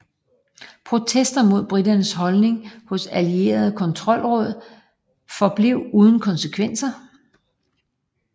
Protester mod briternes holdning hos allieredes kontrollråd forblev uden konsekvenser